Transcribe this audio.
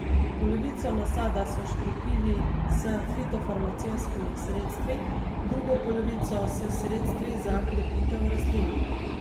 Polovico nasada so škropili s fitofarmacevtskimi sredstvi, drugo polovico s sredstvi za krepitev rastlin.